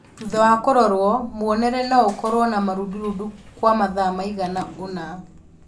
Thutha wa kũrorwo, muonere noũkorwo na marundurundu kwa mathaa maigana ũna